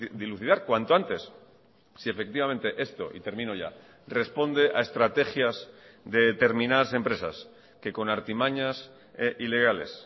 dilucidar cuanto antes si efectivamente esto y termino ya responde a estrategias de determinadas empresas que con artimañas ilegales